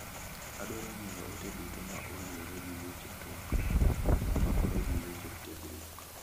Adwaro ng'eyo ote duto ma oluwore gi weche tuak ma omakore gi weche tiegruok.